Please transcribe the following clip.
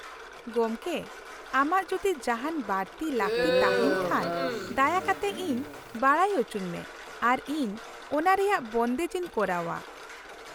ᱜᱚᱢᱠᱮ, ᱟᱢᱟᱜ ᱡᱩᱫᱤ ᱡᱟᱦᱟᱱ ᱵᱟᱲᱛᱤ ᱞᱟᱹᱠᱛᱤ ᱛᱟᱦᱮᱱ ᱠᱷᱟᱱ , ᱫᱟᱭᱟ ᱠᱟᱛᱮ ᱤᱧ ᱵᱟᱰᱟᱭ ᱚᱪᱚᱧ ᱢᱮ ᱟᱨ ᱤᱧ ᱚᱱᱟᱨᱮᱭᱟᱜ ᱵᱚᱱᱫᱮᱡ ᱤᱧ ᱠᱚᱨᱟᱣᱟ ᱾